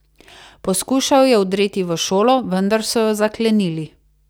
Poskušal je vdreti v šolo, vendar so jo zaklenili.